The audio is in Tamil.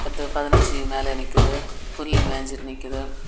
பத்தோ பதினஞ்சு மேல நிக்குது. புல்லு மேஞ்சுட்டு நிக்குது.